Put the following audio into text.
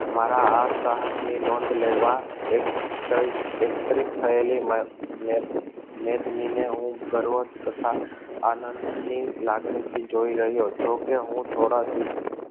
મારા આ સાહસ ની નોંધ લેવા એકત્રિત થયેલી. મેદની ને હું ગર્વ તથા આનંદની લાગણી ને જોઈ રહ્યો. જોકે હું થોડા